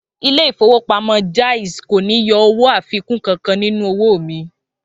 Ilé ìfowópamọ́ Jaiz kò ní yọ owó àfikún kankan nínú owó mi